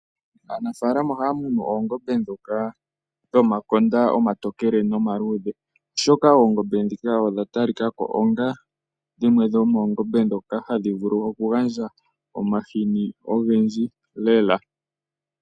Aanafalama ohaya munu oongombe ndhoka dhomakonda omatokele nomaludhe oshoka oongombe ndhika odha talika ko onga dhimwe dhomoongombe ndhoka hadhi vulu okugandja omahini ogendji lela.